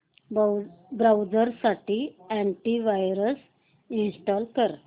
browser साठी antivirus install कर